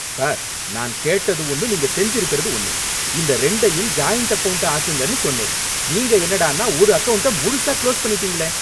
Sir! நான் கேட்டது ஒன்னு, நீங்க செஞ்சிருக்கிறது ஒன்னு! இந்த ரெண்டையும் ஜாயின்ட் அகவுன்ட்டா ஆக்குங்கன்னு சொன்னேன், நீங்க என்னடான்னா ஒரு அகவுன்ட்ட முழுசா குளோஸ் பண்ணிட்டீங்களே!